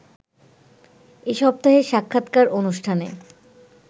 এ সপ্তাহের সাক্ষাৎকার অনুষ্ঠানে